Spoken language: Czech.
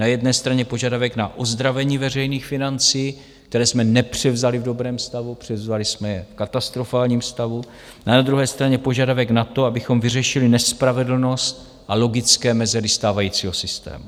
Na jedné straně požadavek na ozdravení veřejných financí, které jsme nepřevzali v dobrém stavu, převzali jsme je v katastrofálním stavu, a na druhé straně požadavek na to, abychom vyřešili nespravedlnost a logické mezery stávajícího systému.